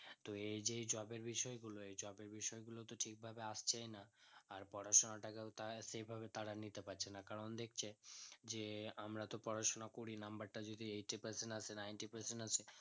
তো এই যে job এর বিষয় গুলো এই job এর বিষয় গুলোতো ঠিক ভাবে আসছেই না আর পড়াশোনাটাকেও তার সেই ভাবে তারা নিতে পারছে না কারণ দেখছে যে আমরা তো পড়াশোনা করে number তা যদি eighty percent আসে ninety percent আসে